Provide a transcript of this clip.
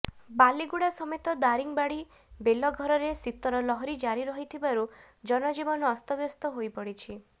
ବାଲିଗୁଡା ସମେତ ଦାରିଙ୍ଗବାଡି ବେଲଘରରେ ଶୀତର ଲହରୀ ଜାରି ରହିଥିବାରୁ ଜନଜୀବନ ଅସ୍ତବ୍ୟସ୍ତ ହୋଇପଡିଛି